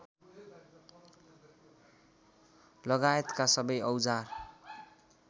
लगायतका सबै औजार